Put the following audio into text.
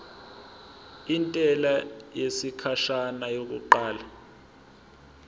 intela yesikhashana yokuqala